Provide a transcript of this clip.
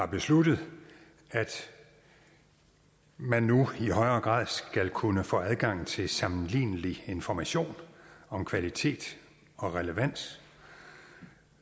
besluttet at man nu i højere grad skal kunne få adgang til sammenlignelig information om kvalitet og relevans